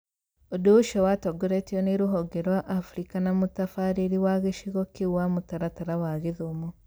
ũndũ ũcio watongoretio nĩ rũhonge rwa Africa na mũtabarĩri wa gĩcigo kĩu wa mũtaratara wa gĩthomo.